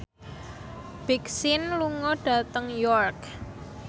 Big Sean lunga dhateng York